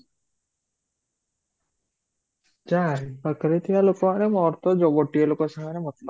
ଚାରି ପାଖରେ ଥିବା ଲୋକମାନେ ମୋର ତ ଯୋଉ ଗୋଟେ ଲୋକ ସାଙ୍ଗରେ ମତଲବ